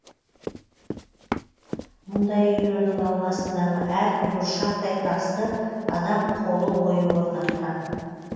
мұндай үйлердің ауласындағы әрбір бұршақтай тасты адам қолы ойып орнатқан